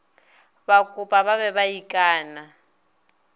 bakopa ba be ba ikana